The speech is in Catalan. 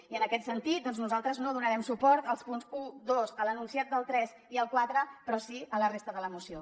i en aquest sentit doncs nosaltres no donarem suport als punts un dos a l’enunciat del tres i al quatre però sí a la resta de la moció